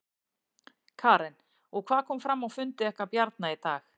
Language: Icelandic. Karen: Og hvað kom fram á fundi ykkar Bjarna í dag?